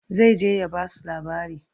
zai je ya Basu labari